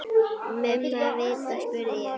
Mumma vita, spurði ég.